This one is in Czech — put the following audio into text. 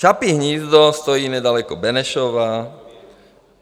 Čapí hnízdo stojí nedaleko Benešova.